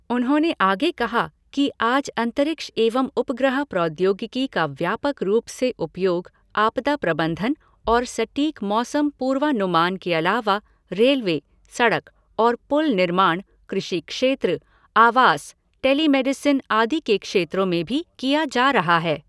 उन्होंने आगे कहा कि आज अंतरिक्ष एवं उपग्रह प्रौद्योगिकी का व्यापक रूप से उपयोग आपदा प्रबंधन और सटीक मौसम पूर्वानुमान के अलावा रेलवे, सड़क और पुल निर्माण, कृषि क्षेत्र, आवास, टेली मेडिसिन आदि के क्षेत्रों में भी किया जा रहा है।